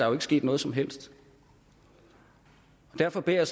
er sket noget som helst derfor beder